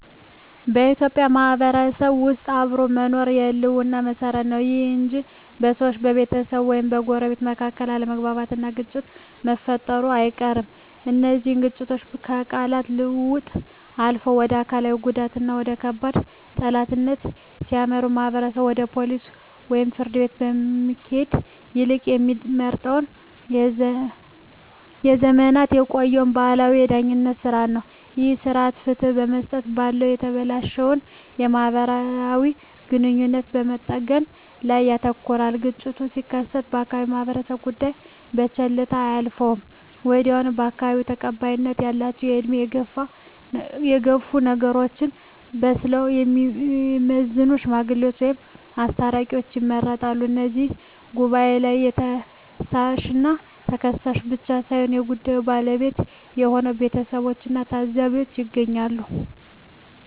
በኢትዮጵያ ማህበረሰብ ውስጥ አብሮ መኖር የህልውና መሰረት ነው። ይሁን እንጂ በሰዎች፣ በቤተሰብ ወይም በጎረቤቶች መካከል አለመግባባትና ግጭት መፈጠሩ አይቀርም። እነዚህ ግጭቶች ከቃላት ልውውጥ አልፈው ወደ አካላዊ ጉዳትና ወደ ከባድ ጠላትነት ሲያመሩ፣ ማህበረሰቡ ወደ ፖሊስ ወይም ፍርድ ቤት ከመሄድ ይልቅ የሚመርጠው ለዘመናት የቆየውን ባህላዊ የዳኝነት ሥርዓት ነው። ይህ ሥርዓት ፍትህ ከመስጠት ባለፈ የተበላሸውን ማህበራዊ ግንኙነት በመጠገን ላይ ያተኩራል። ግጭቱ ሲከሰት የአካባቢው ማህበረሰብ ጉዳዩን በቸልታ አያልፈውም። ወዲያውኑ በአካባቢው ተቀባይነት ያላቸው፣ በዕድሜ የገፉና ነገሮችን በብስለት የሚመዝኑ "ሽማግሌዎች" ወይም "አስታራቂዎች" ይመረጣሉ። በዚህ ጉባኤ ላይ ከሳሽና ተከሳሽ ብቻ ሳይሆኑ የጉዳዩ ባለቤቶች የሆኑት ቤተሰቦችና ታዘቢዎችም ይገኛሉ።